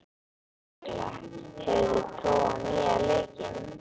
Tekla, hefur þú prófað nýja leikinn?